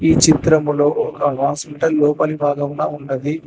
ఈ చిత్రములో ఒక వాషింగ్టన్ లోపలి భాగమున ఉన్నది.